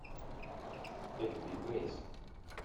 эбби грейс